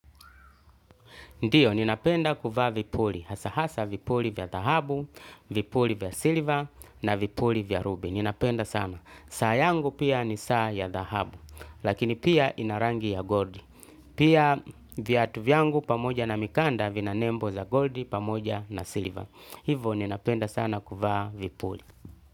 Ndiyo, ninapenda kuvaa vipuli. Hasa hasa vipuli vya dhahabu, vipuli vya silver na vipuli vya rubi. Ninapenda sana. Saayangu pia ni saa ya dhahabu. Lakini pia inarangi ya gold. Pia via tu vyangu pamoja na mikanda vina nembo za gold pamoja na silver. Hivo ninapenda sana kuvaa vipuli.